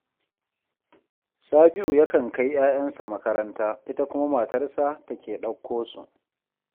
Sabi'u yakan kai 'ya'yansa makaranta, ita kuma matarsa take ɗauko su